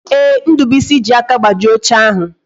Ee, Ndubuisi ji aka gbajie oche ahụ